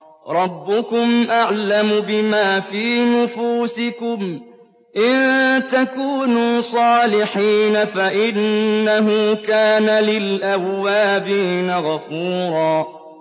رَّبُّكُمْ أَعْلَمُ بِمَا فِي نُفُوسِكُمْ ۚ إِن تَكُونُوا صَالِحِينَ فَإِنَّهُ كَانَ لِلْأَوَّابِينَ غَفُورًا